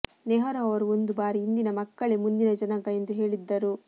ನೆಹರೂ ಅವರು ಒಂದು ಬಾರಿ ಇಂದಿನ ಮಕ್ಕಳೇ ಮುಂದಿನ ಜನಾಂಗ ಎಂದು ಹೇಳಿದ್ದರು